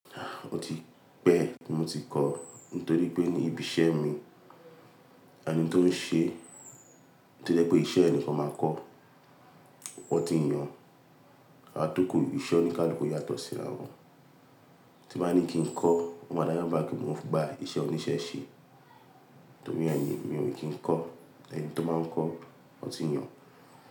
Ah! Ó ti pẹ́ tí mo ti kọ́, nítorí pé ní ibi iṣẹ́ mi, ẹni tó ń ṣe tí ó jẹ́ pé iṣẹ́ ẹ ni kan máa kọ́, wọ́n ti yàn. A tó kó ibi iṣẹ́ oní káluku yàtọ̀ síra wọn. Tí ń bá ní kí ń kò, ó má dá bi mo gba isé òní sé sé, torí e mi o kí ń kò, tori ènì to máa ń kò won tí ní ó.